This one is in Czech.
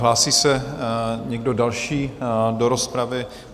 Hlásí se někdo další do rozpravy?